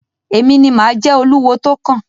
Èmi ni mà á jẹ oluwo tó kàn.